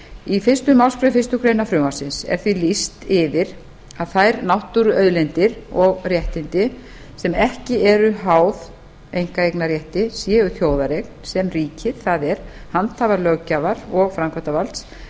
í fyrstu málsgrein fyrstu grein frumvarpsins er því lýst yfir að þær náttúruauðlindir og réttindi sem ekki eru háð einkaeignarrétti séu þjóðareign sem ríkið það er handhafar löggjafar og framkvæmdarvalds